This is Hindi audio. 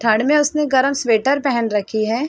ठंड मे उसने गरम स्वेटर पहन रखी है।